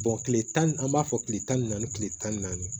tile tan ni b'a fɔ kile tan ni naani kile tan ni naani